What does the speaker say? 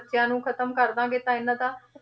ਬੱਚਿਆਂ ਨੂੰ ਖ਼ਤਮ ਕਰ ਦੇਵਾਂਗੇ ਤਾਂ ਇਹਨਾਂ ਦਾ,